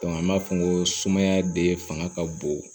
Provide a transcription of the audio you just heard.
an b'a fɔ ko sumaya de fanga ka bon